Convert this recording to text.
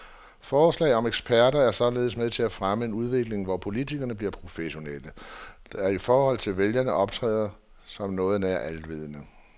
Forslaget om eksperter er således med til at fremme en udvikling, hvor politikerne bliver professionelle, der i forhold til vælgerne optræder som noget nær alvidende.